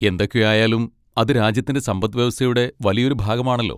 എന്തൊക്കെ ആയാലും, അത് രാജ്യത്തിൻ്റെ സമ്പദ് വ്യവസ്ഥയുടെ വലിയൊരു ഭാഗമാണല്ലോ.